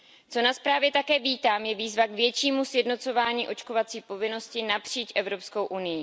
Co na zprávě také vítám, je výzva k většímu sjednocování očkovací povinnosti napříč EU.